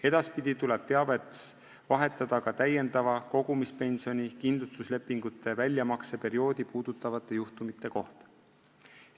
Edaspidi tuleb teavet vahetada ka täiendava kogumispensioni kindlustuslepingute väljamakseperioodi puudutavate juhtumite kohta.